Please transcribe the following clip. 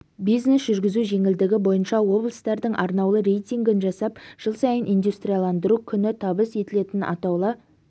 бизнес жүргізу жеңілдігі бойынша облыстардың арнаулы рейтингін жасап жыл сайын индустрияландыру күні табыс етілетін атаулы